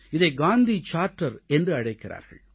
இதை காந்தி சார்ட்டர் என்றும் அழைக்கிறார்கள்